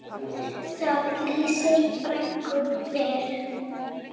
Það lýsir frænku vel.